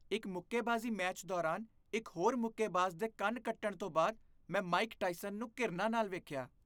ਇੱਕ ਮੁੱਕੇਬਾਜ਼ੀ ਮੈਚ ਦੌਰਾਨ ਇੱਕ ਹੋਰ ਮੁੱਕੇਬਾਜ਼ ਦੇ ਕੰਨ ਕੱਟਣ ਤੋਂ ਬਾਅਦ ਮੈਂ ਮਾਈਕ ਟਾਇਸਨ ਨੂੰ ਘਿਰਣਾ ਨਾਲ ਵੇਖਿਆ।